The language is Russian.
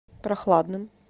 прохладным